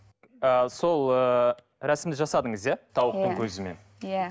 ы сол ы рәсімді жасадыңыз иә тауықтың көзімен иә